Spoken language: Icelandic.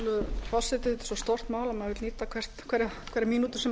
að maður verður að nýta hverja mínútu sem